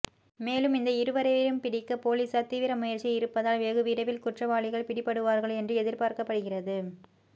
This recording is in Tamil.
மேலும் இந்த இருவரையும் பிடிக்க போலீசார் தீவிர முயற்சியில் இருப்பதால் வெகுவிரைவில் குற்றவாளிகள் பிடிபடுவார்கள் என்று எதிர்பார்க்கப்படுகிறது